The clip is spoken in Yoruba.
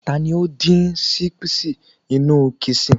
ta ni o din sipsi inú kışın